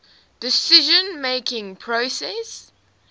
decision making process